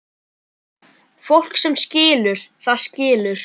Fólk sem skilur, það skilur.